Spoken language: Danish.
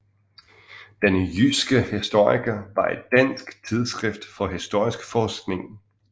Den jyske historiker var et dansk tidsskrift for historisk forskning